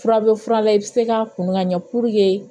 Fura bɛ fura la i bɛ se k'a kunn ka ɲɛ purke